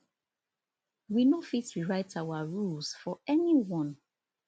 we no fit rewrite our rules for anyone